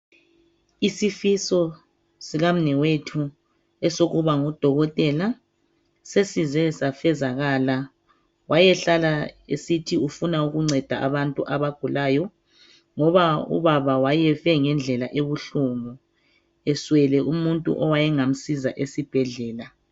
Isifiso sikamnewethu esokuba ngudokotela sesize safezakala wayehlala esithi ufuna ukunceda abantu abagulayo ngoba ubaba wayefe ngendlela ebuhlungu eswele umuntu owayengamsiza esibhedlela